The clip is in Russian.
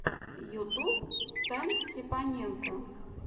ютуб стэнстепаненко